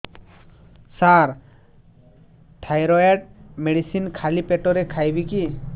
ସାର thyroid medicine ଖାଲି ପେଟରେ ଖାଇବି କି